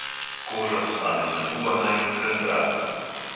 Koža postane nagubana in razbrazdana.